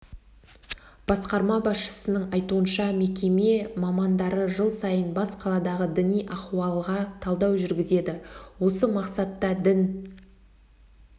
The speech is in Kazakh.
басқарма басшысының айтуынша мекеме мамандары жыл сайын бас қаладағы діни ахуалға талдау жүргізеді осы мақсатта дін